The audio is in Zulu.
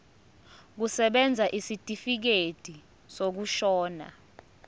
kusebenza isitifikedi sokushona